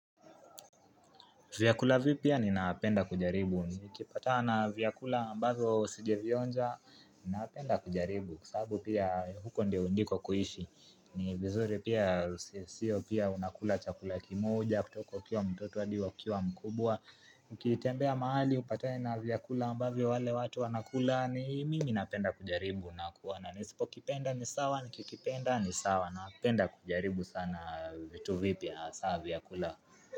Vyakula vipya ninapenda kujaribu, nikipatana vyakula ambazo sijavionja, napenda kujaribu, kwa sababu pia huko ndio ndiko kuishi, ni vizuri pia sio pia unakula chakula kimoja, kutoko ukiwa mtoto hadi ukiwa, mkubwa, ukitembea mahali, upatane na vyakula ambavyo wale watu wanakula, ni mimi napenda kujaribu, nakuwa na, nisipokipenda ni sawa, nikikipenda ni sawa, napenda kujaribu sana vitu vipya, hasa vyakula.